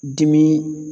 Dimi